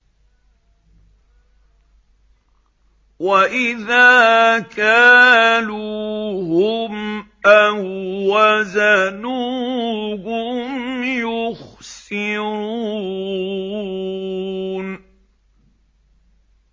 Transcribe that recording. وَإِذَا كَالُوهُمْ أَو وَّزَنُوهُمْ يُخْسِرُونَ